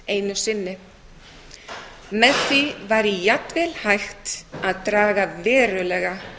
einu sinni með því væri jafnvel hægt að draga verulega